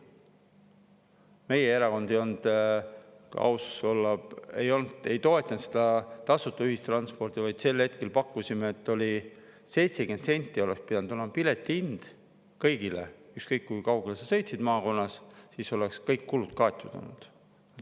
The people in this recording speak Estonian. Meie erakond, kui aus olla, ei toetanud seda tasuta ühistransporti, vaid sel hetkel pakkusime, et 70 senti oleks pidanud olema piletihind kõigile, ükskõik kui kaugele sa sõidad maakonnas, siis oleks kõik kulud kaetud olnud.